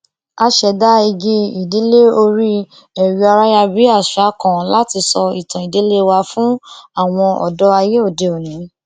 a ṣẹdá igi ìdílé orí ẹrọayárabíàṣá kan láti sọ ìtàn ìdílé wa fún àwọn ọdọ ayé òdeòní